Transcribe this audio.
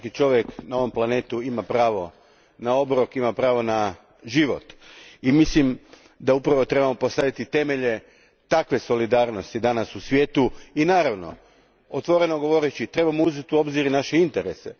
Svaki čovjek na ovom planetu ima pravo na obrok, ima pravo na život, i mislim da upravo trebamo postaviti temelje takve solidarnosti danas u svijetu, i otvoreno govoreći, trebamo uzeti u obzir i naše interese.